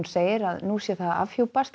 segir að nú sé að afhjúpast